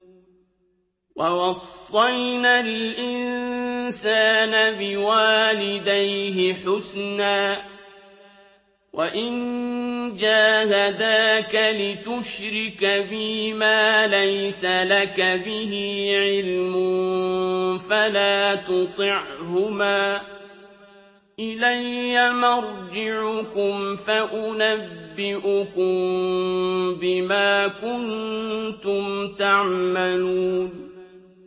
وَوَصَّيْنَا الْإِنسَانَ بِوَالِدَيْهِ حُسْنًا ۖ وَإِن جَاهَدَاكَ لِتُشْرِكَ بِي مَا لَيْسَ لَكَ بِهِ عِلْمٌ فَلَا تُطِعْهُمَا ۚ إِلَيَّ مَرْجِعُكُمْ فَأُنَبِّئُكُم بِمَا كُنتُمْ تَعْمَلُونَ